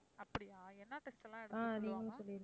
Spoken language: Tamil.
அப்படியா என்ன test எல்லாம் எடுக்கச் சொல்லுவாங்க?